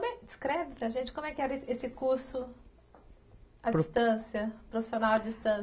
Descreve para a gente como é que era esse curso à distância, profissional à